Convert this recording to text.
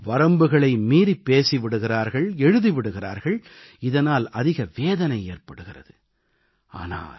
சிலரோ வரம்புகளை மீறிப் பேசி விடுகிறார்கள் எழுதி விடுகிறார்கள் இதனால் அதிக வேதனை ஏற்படுகிறது